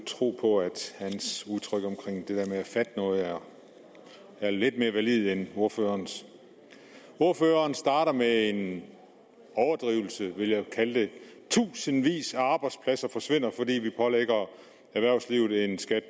tro på at hans udtryk omkring det der med at fatte noget er lidt mere valide end ordførerens ordføreren starter med en overdrivelse vil jeg kalde det tusindvis af arbejdspladser forsvinder fordi vi pålægger erhvervslivet en skat